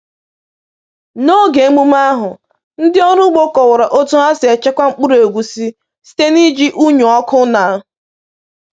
N’oge emume ahụ, ndị ọrụ ugbo kọwara otu ha si echekwa mkpụrụ egusi site n’iji unyi ọkụ na